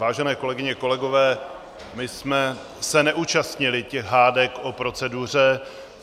Vážené kolegyně, kolegové, my jsme se neúčastnili těch hádek o proceduře.